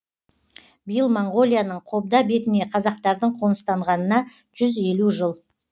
биыл моңғолияның қобда бетіне қазақтардың қоныстанғанына жүз елу жыл